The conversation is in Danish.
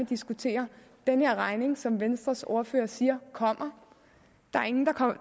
diskutere den her regning som venstres ordfører siger kommer der er ingen